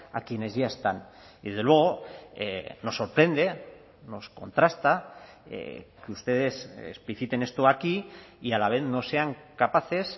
a quienes ya están desde luego nos sorprende nos contrasta que ustedes expliciten esto aquí y a la vez no sean capaces